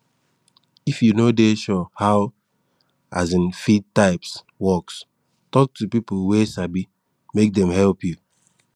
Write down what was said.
if you no dey sure how um feed types works talk to a people wey sabimake dey help you